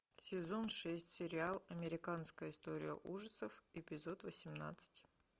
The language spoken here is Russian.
сезон шесть сериал американская история ужасов эпизод восемнадцать